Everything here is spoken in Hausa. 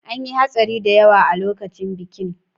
An yi hatsari da yawa a lokacin bikin.